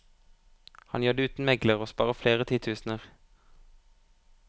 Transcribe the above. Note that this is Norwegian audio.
Han gjør det uten megler, og sparer flere titusener.